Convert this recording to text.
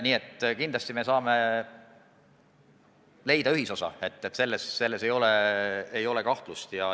Nii et kindlasti me saame leida ühisosa, selles ei ole kahtlust.